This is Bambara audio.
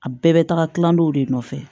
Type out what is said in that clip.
A bɛɛ bɛ taga kilandenw de nɔfɛ